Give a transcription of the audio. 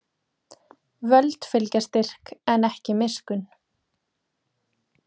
Völd fylgja styrk en ekki miskunn.